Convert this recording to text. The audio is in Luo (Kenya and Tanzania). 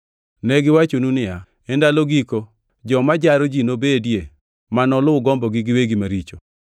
Ne giwachonu niya, “E ndalo giko joma jaro ji nobedie ma noluw gombogi giwegi maricho.”